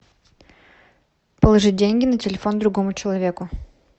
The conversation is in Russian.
положить деньги на телефон другому человеку